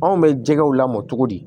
Anw bɛ jɛgɛw lamɔ cogo di